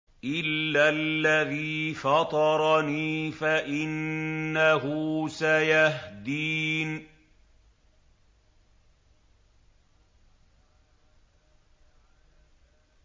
إِلَّا الَّذِي فَطَرَنِي فَإِنَّهُ سَيَهْدِينِ